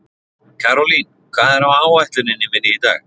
Karólín, hvað er á áætluninni minni í dag?